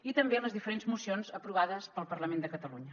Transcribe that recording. i també les diferents mocions aprovades pel parlament de catalunya